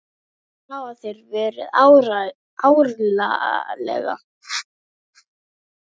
Síðan hafa þeir verið árlega.